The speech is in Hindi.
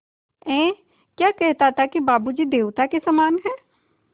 ऐं क्या कहता था कि बाबू जी देवता के समान हैं